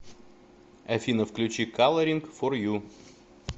афина включи каларинг фор ю